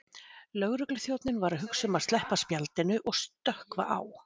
Lögregluþjónninn var að hugsa um að sleppa spjaldinu og stökkva á